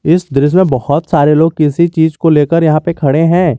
इस दृश्य में बहोत सारे लोग किसी चीज को लेकर यहां पे खड़े हैं।